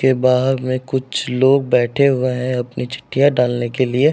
के बाह में कुछ लोग बैठे हुए हैं अपनी चिट्ठीयां डालने के लिए।